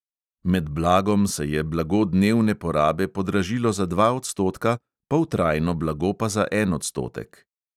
Med blagom se je blago dnevne porabe podražilo za dva odstotka, poltrajno blago pa za en odstotek.